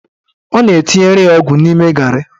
Ọ na-etinyere ya ọgwụ n'ime garị.